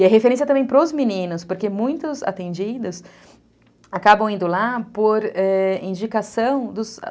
E a referência também para os meninos, porque muitos atendidos acabam indo lá por, é... indicação